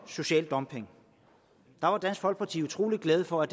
social dumping var dansk folkeparti utrolig glade for